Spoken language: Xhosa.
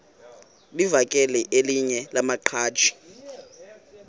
livakele elinye lamaqhaji